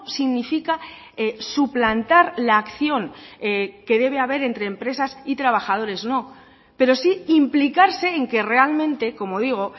significa suplantar la acción que debe de haber entre empresas y trabajadores no pero sí implicarse en que realmente como digo